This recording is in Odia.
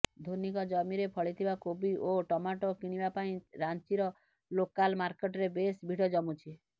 ଧୋନିଙ୍କ ଜମିରେ ଫଳିଥିବା କୋବି ଓ ଟମାଟୋ କିଣିବା ପାଇଁ ରାଞ୍ଚିର ଲୋକାଲ ମାର୍କେଟରେ ବେଶ ଭିଡ଼ ଜମୁଛି